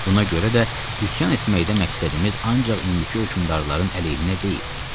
Buna görə də üsyan etməkdə məqsədimiz ancaq indiki hökümdarların əleyhinə deyil.